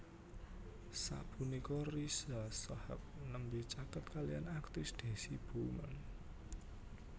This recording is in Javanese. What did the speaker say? Sapunika Riza Shahab nembé caket kaliyan aktris Deasy Bouman